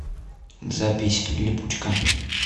запись липучка